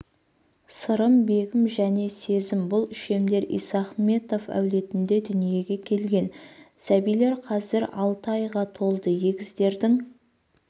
сырым бегім және сезім бұл үшемдер исахметов әулетінде дүниеге келген сәбилер қазір алты айға толды егіздердің